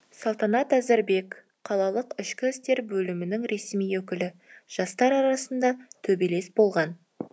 салтанат әзірбек қалалық ішкі істер бөлімінің ресми өкілі жастар арасында төбелес болған